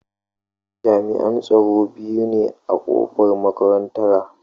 Jami'an tsaro biyu ne a kofar makarantara.